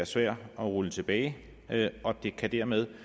svær at rulle tilbage og at det dermed